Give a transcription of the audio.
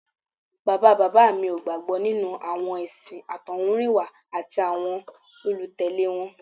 Bàbá bàbá mi ò gbàgbọ́ nínú àwọn ẹ̀sìn àtọ̀húnrìnwá àti àwọn olùtẹ̀lé wọn